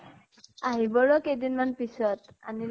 আহিব ৰʼ কেইদিন মান পিছত। আনিলে